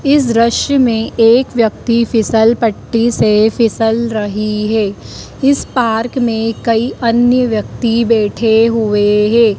इस दृश्य में एक व्यक्ति फिसल पट्टी से फिसल रही है इस पार्क में कई अन्य व्यक्ति बैठे हुए हैं।